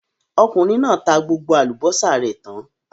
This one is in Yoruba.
Okùnrin náà tá gbogbo àlùbọ́sà rẹ̀ tán.